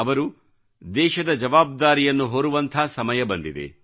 ಅವರು ದೇಶದ ಜವಾಬ್ದಾರಿಯನ್ನು ಹೊರುವಂಥ ಸಮಯ ಬಂದಿದೆ